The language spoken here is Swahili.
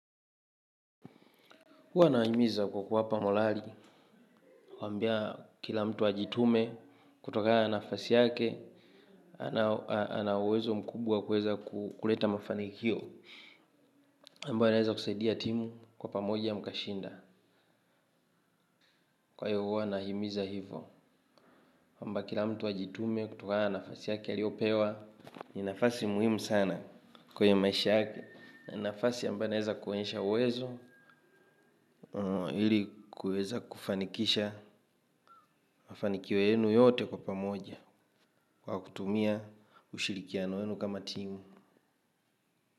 Huwa nawahimiza kwa kuwapa morali, kuwaambia kila mtu ajitume kutoka na nafasi yake, ana uwezo mkubwa wa kuweza kuleta mafanikio, ambayo yanaweza kusaidia timu kwa pamoja mkashinda. Kwa hiyo huwa nahimiza hivo, kwamba kila mtu ajitume kutokana na nafasi yake aliyopewa. Ni nafasi muhimu sana kwenye maisha yake. Na nafasi ambayo inaweza kuonyesha uwezo, ili kuweza kufanikisha mafanikio yenu yote kwa pamoja. Kwa kutumia, ushirikiano wenu kama timu.